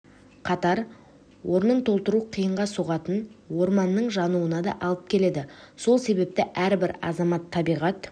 қатар орнын толтыру қиынға соғатын орманның жануына да алып келеді сол себепті әрбір азамат табиғат